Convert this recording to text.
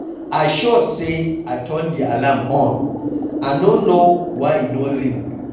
I sure say I turn the alarm on, I no know why e no ring.